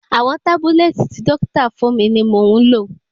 Àwọn tábúlẹ́ẹ̀tì tí dọ́kítà fún mi ni mò ń lò.